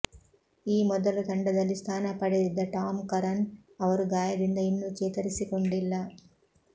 ಈ ಮೊದಲು ತಂಡದಲ್ಲಿ ಸ್ಥಾನ ಪಡೆದಿದ್ದ ಟಾಮ್ ಕರನ್ ಅವರು ಗಾಯದಿಂದ ಇನ್ನೂ ಚೇತರಿಸಿಕೊಂಡಿಲ್ಲ